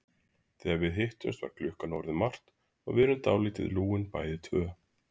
Þegar við hittumst var klukkan orðin margt og við erum dálítið lúin bæði tvö.